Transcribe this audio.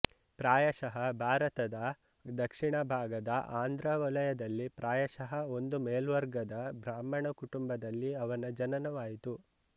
ಪ್ರಾಯಶಃ ಭಾರತದ ದಕ್ಷಿಣ ಭಾಗದ ಆಂಧ್ರ ವಲಯದಲ್ಲಿ ಪ್ರಾಯಶಃ ಒಂದು ಮೇಲ್ವರ್ಗದ ಬ್ರಾಹ್ಮಣ ಕುಟುಂಬದಲ್ಲಿ ಅವನ ಜನನವಾಯಿತು